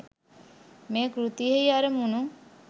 මේ කෘතියෙහි අරමුණු